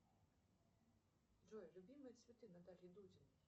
джой любимые цветы натальи дудиной